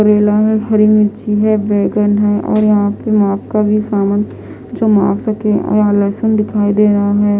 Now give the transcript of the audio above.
करेला है हरी मिर्ची है बैगन है और यहाँ पे माफ का भी सामान जो माग सके और लहसुन दिखाई दे रहा है।